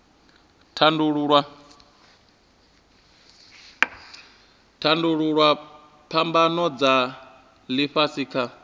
tandululwa phambano dza ifhasi kha